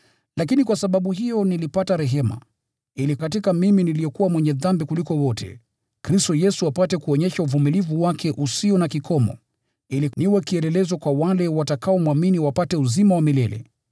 Lakini kwa sababu hiyo nilipata rehema, ili katika mimi, niliyekuwa mwenye dhambi kuliko wote, Kristo Yesu apate kuonyesha uvumilivu wake usio na kikomo, ili niwe kielelezo kwa wale watakaomwamini na wapate uzima wa milele.